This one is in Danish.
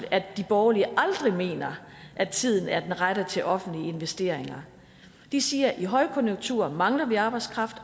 at de borgerlige aldrig mener at tiden er den rette til offentlige investeringer de siger i højkonjunktur mangler vi arbejdskraft